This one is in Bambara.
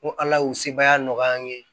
Ko ala y'u sebaaya nɔgɔya an ye